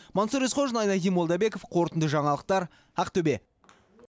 мансұр есқожин айнадин молдабеков қорытынды жаңалықтар ақтөбе